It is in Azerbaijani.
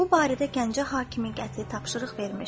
Bu barədə Gəncə hakimi qəti tapşırıq vermişdi.